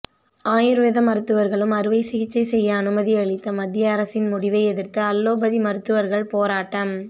ஆயுர்வேத மருத்துவர்களும் அறுவை சிகிச்சை செய்ய அனுமதி அளித்த மத்திய அரசின் முடிவை எதிர்த்து அலோபதி மருத்துவர்கள் போராட்டம்